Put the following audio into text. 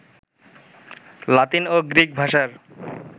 লাতিন ও গ্রিক ভাষার